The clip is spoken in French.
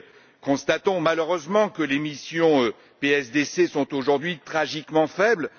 Nous constatons malheureusement que les missions de la PSDC sont aujourd'hui tragiquement faibles.